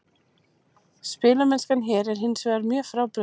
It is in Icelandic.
Spilamennskan hér er hinsvegar mjög frábrugðin.